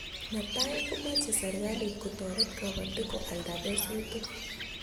Netai ko mache serikalit ko taret kabatik ko alda kesutik